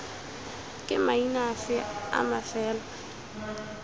ke maina afe a mafelo